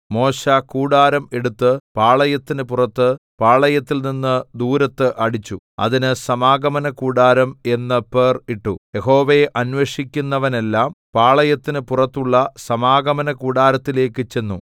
മോശെ കൂടാരം എടുത്ത് പാളയത്തിന് പുറത്ത് പാളയത്തിൽനിന്ന് ദൂരത്ത് അടിച്ചു അതിന് സമാഗമനകൂടാരം എന്ന് പേർ ഇട്ടു യഹോവയെ അന്വേഷിക്കുന്നവനെല്ലാം പാളയത്തിന് പുറത്തുള്ള സമാഗമനകൂടാരത്തിലേക്ക് ചെന്നു